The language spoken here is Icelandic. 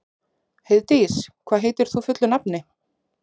Heiðdís, hvað heitir þú fullu nafni?